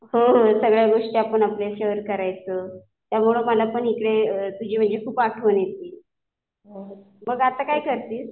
हो हो. सगळ्या गोष्टी आपण आपल्या शेअर करायचो. त्यामुळे मला पण इकडे तुझी म्हणजे खूप आठवण येति. मग आता काय करतीस?